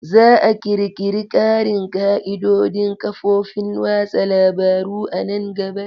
Za a ƙirƙiri ƙarin ƙa'idodin ƙafofin watsa labaru a nan gaba.